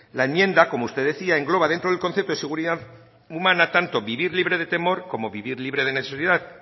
la enmienda como usted decía engloba dentro del concepto de seguridad humana tanto vivir libre de temor como vivir libre de